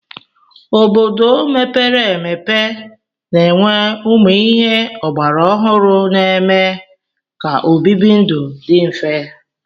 Obodo mepere emepe na-enwe ụmụ ihe ọgbara ọhụrụ na-eme ka obibi ndụ dị mfe.